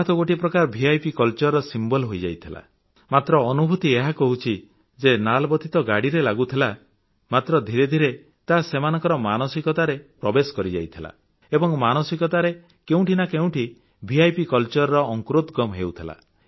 ତାହା ତ ଗୋଟିଏ ପ୍ରକାର ଭିପ୍ କଲଚର ପ୍ରତୀକ ହୋଇଯାଇଥିଲା ମାତ୍ର ଅନୁଭୂତି ଏହା କହୁଛି ଯେ ଲାଲବତୀ ତ ଗାଡ଼ିରେ ଲାଗୁଥିଲା ମାତ୍ର ଧୀରେ ଧୀରେ ତାହା ସେମାନଙ୍କର ମାନସିକତାରେ ପ୍ରବେଶ କରିଯାଇଥିଲା ଏବଂ ମାନସିକତାରେ କେଉଁଠି ନା କେଉଁଠି ଭିପ୍ କଲଚର ର ଅଙ୍କୁରୋଦଗମ୍ ହେଉଥିଲା